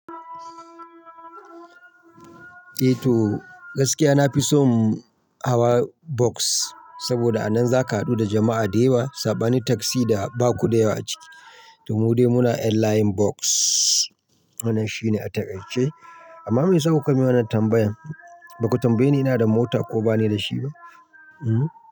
Eh to gaskiya na fi son hawa bus saboda a nan za ka haɗu da jama'a da yawa, saba ne taksi da baku da yawa ciki. To mu dai muna 'yan layin bus, wannan shine a takaice. Amma me yasa kuka min wannan tambayan? Baku tambaye ni ina da mota ko bane da shi ba? Hmm.